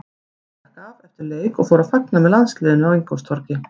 Siggi stakk af eftir leik og fór að fagna með landsliðinu á Ingólfstorgi.